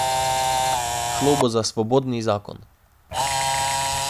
Šlo bo za svobodni zakon.